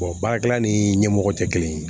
baarakɛla ni ɲɛmɔgɔ tɛ kelen ye